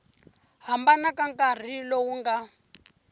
hambana ka nkarhi lowu nga